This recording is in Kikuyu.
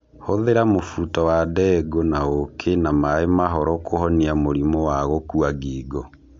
Hũthĩra mũbuto wa ndengũ na ũũkĩ na maĩ mahoro kũhonia mũrimũ wa gũkua ngingo.